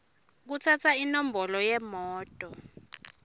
kutsatsa inombolo yemoto